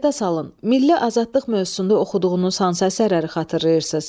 Yada salın, milli azadlıq mövzusunda oxuduğunuz hansı əsərləri xatırlayırsız?